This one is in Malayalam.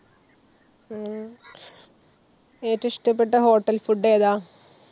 ഏറ്റവും ഇഷ്ടപെട്ട hotel food ഏതാ?